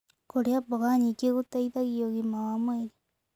Kũrĩa mboga nyĩngĩ gũteĩthagĩa ũgima wa mwĩrĩ